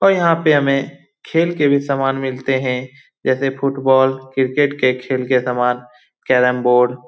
और यहाँ पे हमें खेल के भी समान मिलते हैं जैसे फुटबॉल क्रिकेट के खेल के समान कैरम बोर्ड ।